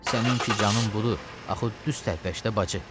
Səninki canın budur, axı düz tərpəş də bacı.